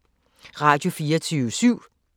Radio24syv